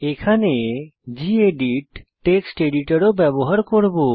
এখানে gedit text editor ও ব্যবহার করব